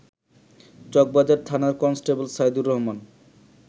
চকবাজার থানার কনস্টেবল সাইদুর রহমান